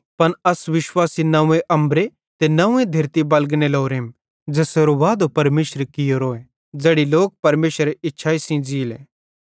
पन अस विश्वासी नंव्वे अम्बरे ते नंव्वे धेरती बलगने लोरेम ज़ेसेरो वादो परमेशरे कियोरो ज़ैड़ी लोक परमेशरेरे इच्छाई सेइं ज़ीयेले